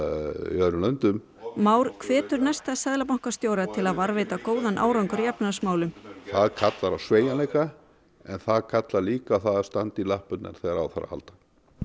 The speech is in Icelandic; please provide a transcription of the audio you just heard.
í öðrum löndum Már hvetur næsta seðlabankastjóra til að varðveita góðan árangur í efnahagsmálum það kallar á sveigjanleika en það kallar líka á að standa í lappirnar þegar á þarf að halda